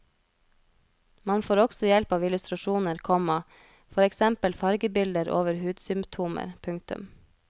Man får også hjelp av illustrasjoner, komma for eksempel fargebilder over hudsymptomer. punktum